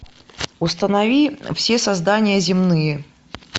установи все создания земные